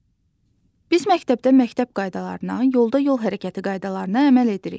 Biz məktəbdə məktəb qaydalarına, yolda yol hərəkəti qaydalarına əməl edirik.